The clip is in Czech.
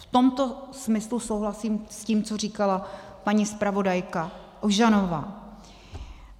V tomto smyslu souhlasím s tím, co říkala paní zpravodajka Ožanová.